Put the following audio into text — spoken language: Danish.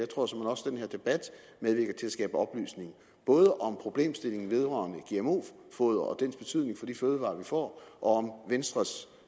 skabe oplysning både om problemstillingen vedrørende gmo foder og dets betydning for de fødevarer vi får og om venstres